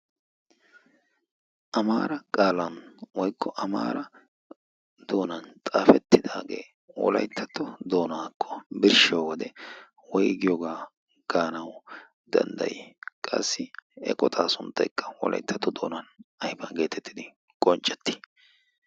amaara qaalan woykko amaara doonan xaafettidaagee wolayttatto doonaakko birshshiyo wode woygiyoogaa gaanawu danddayi qassi eqotaa suntteekka wolayttatto doonan ayfaa geetettidi qonccetti